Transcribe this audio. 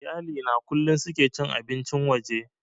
Iyali na kullum suke cin abincin waje